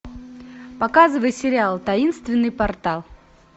показывай сериал таинственный портал